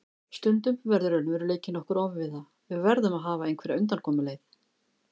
Stundum verður raunveruleikinn okkur ofviða, við verðum að hafa einhverja undankomuleið.